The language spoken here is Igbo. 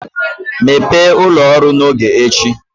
Mepee ụlọ ọrụ n'oge echi